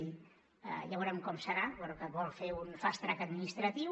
ja veurem com serà però que vol fer un fast track administratiu